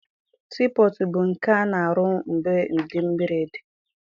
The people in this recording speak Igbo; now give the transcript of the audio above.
Sii pọtụ bụ nke a na-arụ ebe mmiri dị.